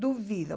Duvido.